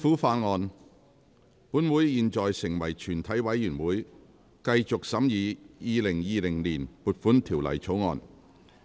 本會現在成為全體委員會，繼續審議《2020年撥款條例草案》。